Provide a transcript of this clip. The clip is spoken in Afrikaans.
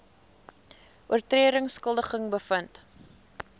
oortredings skuldig bevind